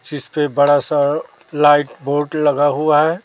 जिस पे बड़ा सा लाइट बोर्ड लगा हुआ है।